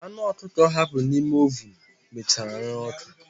Anụ ọkụkọ ọ hapụrụ n'ime ovunu mechara ree ọ́kụ́.